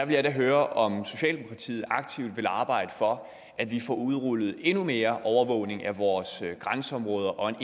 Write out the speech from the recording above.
gerne høre om socialdemokratiet aktivt vil arbejde for at vi får udrullet endnu mere overvågning af vores grænseområder og